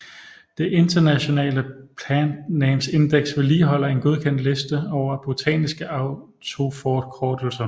Det International Plant Names Index vedligeholder en godkendt liste over botaniske autorforkortelser